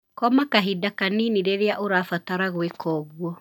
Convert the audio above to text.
Koma kahinda kanini rĩrĩa ũrabatara gwĩka ũguo.